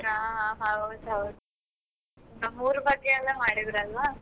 ಹಾ ಹಾ ಹೌದು ಹೌದು, ನಮ್ಮೂರ ಬಗ್ಗೆ ಎಲ್ಲ ಮಾಡಿದ್ರಲ್ವಾ.